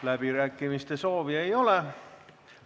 Läbirääkimiste soovi ei ole.